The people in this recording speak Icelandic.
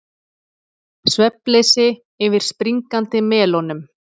Svefnleysi yfir springandi melónum